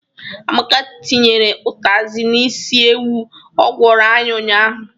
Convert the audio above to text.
Amaka tinyere ụtazị n'isi ewu ọ gwọrọ anyị ụnyaahụ.